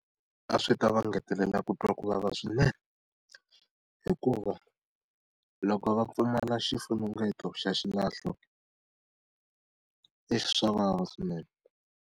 A swi ta va ngetelela ku twa ku vava swinene hikuva loko va pfumala xifunengeto xa xilahlo, swa vava swinene.